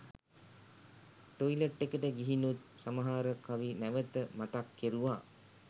toilet එකට ගිහිනුත් සමහර කවි නැවත මතක් කෙරුවා